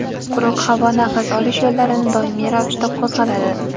Quruq havo nafas olish yo‘llarini doimiy ravishda qo‘zg‘atadi.